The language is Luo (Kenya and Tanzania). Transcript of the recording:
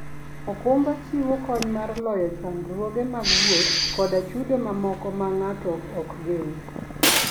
okumba chiwo kony mar loyo chandruoge mag wuoth koda chudo mamoko ma ng'ato ok gen.